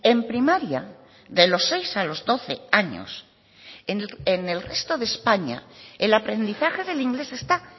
en primaria de los seis a los doce años en el resto de españa el aprendizaje del inglés está